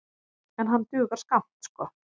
En hann dugar skammt sko.